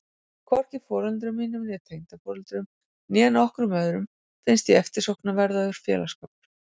Hvorki foreldrum mínum, tengdaforeldrum, né nokkrum öðrum finnst ég eftirsóknarverður félagsskapur.